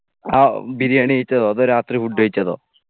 ആ ബിരിയാണി കഴിച്ചതോ അതോ രാത്രി food കഴിച്ചതോ